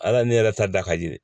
Ala ne yɛrɛ ta da ka di